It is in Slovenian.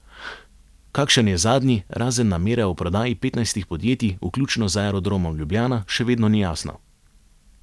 Kakšen je zadnji, razen namere o prodaji petnajstih podjetij, vključno z Aerodromom Ljubljana, še vedno ni jasno.